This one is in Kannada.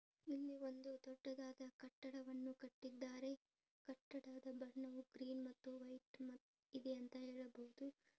ಇಲ್ಲಿ ಈ ಒಂದು ದೊಡ್ಡದಾದಾ ಕಟ್ಟಡವನ್ನು ಕಟ್ಟಿದ್ದಾರೆ ಕಟ್ಟಡದ ಬಣ್ಣ ಕ್ರೀಮ್ ಮತ್ತು ವೈಟ್ ಇದೆ ಅಂತ ಹೇಳ್ಬೋದು.